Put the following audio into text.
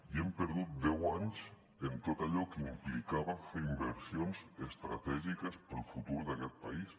i hem perdut deu anys en tot allò que implicava fer inversions estratègiques per al futur d’aquest país